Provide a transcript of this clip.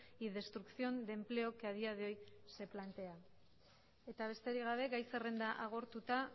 y destrucción de empleo que a día de hoy se plantea eta besterik gabe gai zerrenda agortuta